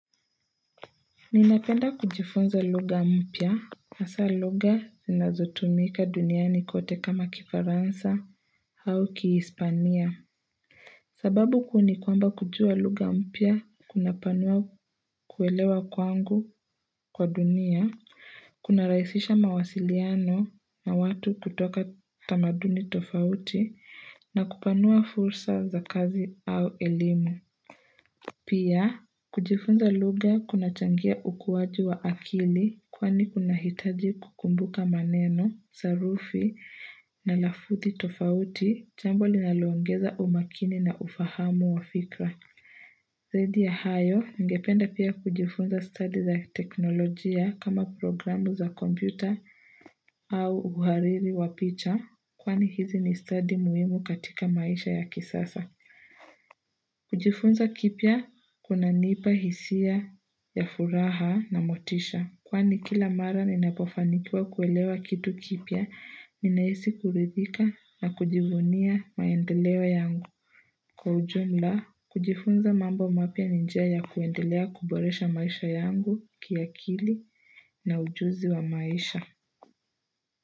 Ninapenda kujifunza lugha mpya. Hasa lugha zinazotumika duniani kote kama kifaransa au kihispania. Sababu kuu ni kwamba kujua lugha mpya kunapanua kuelewa kwangu kwa dunia, kuna rahisisha mawasiliano na watu kutoka tamaduni tofauti na kupanua fursa za kazi au elimu. Pia, kujifunza lugha kuna changia ukuwaji wa akili kwani kuna hitaji kukumbuka maneno, sarufi, na lafudhi tofauti, jambo linalo ongeza umakini na ufahamu wa fikra. Zaidi ya hayo, nigependa pia kujifunza study za teknolojia kama programu za kompyuta au uhariri wa picha kwani hizi ni study muhimu katika maisha ya kisasa. Kujifunza kipya kunanipa hisia ya furaha na motisha Kwani kila mara ninapofanikiwa kuelewa kitu kipya Ninahisi kuridhika na kujivunia maendeleo yangu Kwa ujumla, kujifunza mambo mapya ni njia ya kuendelea kuboresha maisha yangu kiakili na ujuzi wa maisha.